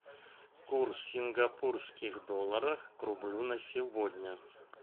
курс сингапурских долларов к рублю на сегодня